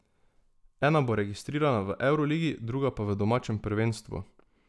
Ena bo registrirana v evroligi, druga pa v domačem prvenstvu.